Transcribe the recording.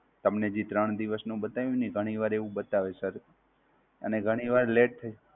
તમને જે ત્રણ દિવસ નું બતાવ્યું ને, ઘણીવાર એવું બતાવે છે Sir અને ઘણીવાર latr થઈ